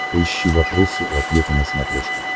поищи вопросы и ответы на смотрешке